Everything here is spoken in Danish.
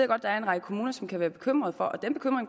godt der er en række kommuner som kan være bekymrede for